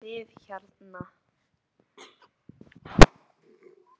Þið hérna.